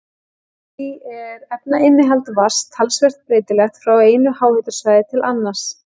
Því er efnainnihald vatns talsvert breytilegt frá einu háhitasvæði til annars.